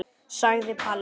sagði Palli.